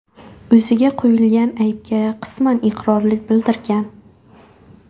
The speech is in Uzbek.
o‘ziga qo‘yilgan aybga qisman iqrorlik bildirgan.